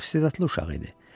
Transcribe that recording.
Çox istedadlı uşaq idi.